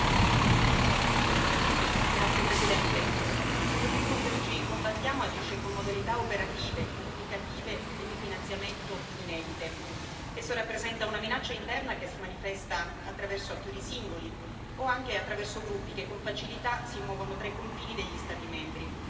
Signor Presidente, onorevoli colleghi, il terrorismo che oggi combattiamo agisce con modalità operative, comunicative e di finanziamento inedite. Esso rappresenta una minaccia interna che si manifesta attraverso attori singoli o anche attraverso gruppi che con facilità si muovono tra i confini degli Stati membri.